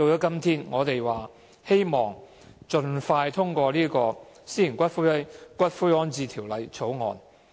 今天，我們絕對同意盡快通過《私營骨灰安置所條例草案》。